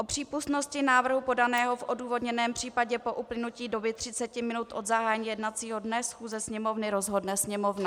O přípustnosti návrhu podaného v odůvodněném případě po uplynutí doby 30 minut od zahájení jednacího dne schůze Sněmovny rozhodne Sněmovna."